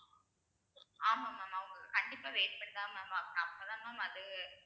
ஆமா mam அவுங்க கண்டிப்பா wait பண்ணித்தான் mam அப்பதான் mam அது